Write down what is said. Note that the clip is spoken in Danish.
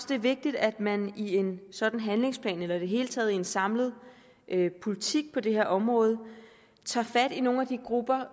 det er vigtigt at man i en sådan handlingsplan eller i det hele taget i en samlet politik på det her område tager fat i nogle af de grupper